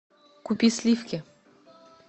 купи сливки